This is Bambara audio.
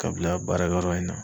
Ka bila baarakɛ yɔrɔ in na.